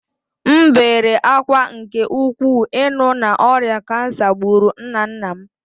M bere ákwá nke ukwuu ịnụ na ọrịa kansa gburu nna nna m